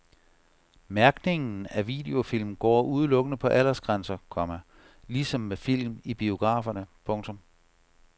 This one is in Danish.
Mærkningen af videofilm går udelukkende på aldersgrænser, komma ligesom med film i biograferne. punktum